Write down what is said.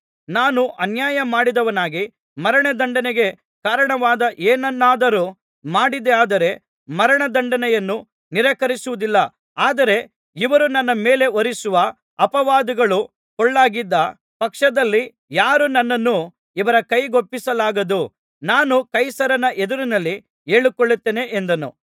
ನಾನು ಅನ್ಯಾಯ ಮಾಡಿದವನಾಗಿ ಮರಣದಂಡನೆಗೆ ಕಾರಣವಾದ ಏನನ್ನಾದರೂ ಮಾಡಿದ್ದೇಯಾದರೆ ಮರಣ ದಂಡನೆಯನ್ನು ನಿರಾಕರಿಸುವುದಿಲ್ಲ ಆದರೆ ಇವರು ನನ್ನ ಮೇಲೆ ಹೊರಿಸುವ ಅಪವಾದಗಳು ಪೊಳ್ಳಾಗಿದ್ದ ಪಕ್ಷದಲ್ಲಿ ಯಾರೂ ನನ್ನನ್ನು ಇವರ ಕೈಗೊಪ್ಪಿಸಲಾಗದು ನಾನು ಕೈಸರನ ಎದುರಿನಲ್ಲಿ ಹೇಳಿಕೊಳ್ಳುತ್ತೇನೆ ಎಂದನು